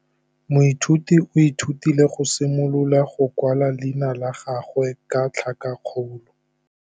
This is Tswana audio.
Moithuti o ithutile go simolola go kwala leina la gagwe ka tlhakakgolo.